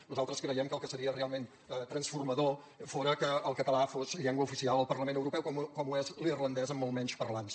nosaltres creiem que el que seria realment transformador fora que el català fos llengua oficial al parlament europeu com ho és l’irlandès amb molts menys parlants